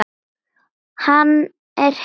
Hann er hissa.